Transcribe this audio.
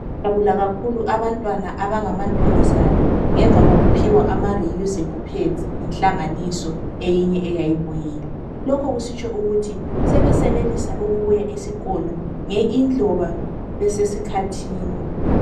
Bajabula kakhulu abantwana abangamantombazane ngemva kokuphiwa ama reusable pads yinhlanganiso eyinye eyayibuyile lokhu kusitsho ukuthi sebesenelisa ukubuya esikolo laloba besesikhathini.